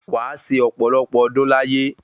Wa se ọ̀pọ̀lọpọ̀ ọdún láyé